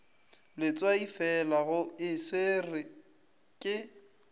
letswaifela go e swerwe ke